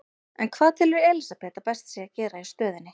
En hvað telur Elísabet að best sé að gera í stöðunni?